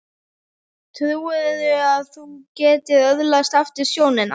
Trúirðu að þú getir öðlast aftur sjónina?